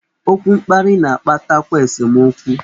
Okwu mkparị na-akpatakwa esemokwu.